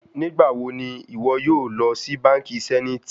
Nigbawo ni iwọ yoo lọ si banki zenith?